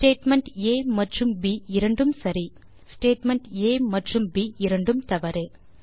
statement ஆ மற்றும் ப் இரண்டும் சரி ஸ்டேட்மெண்ட் ஆ மற்றும் ப் இரண்டும் தவறு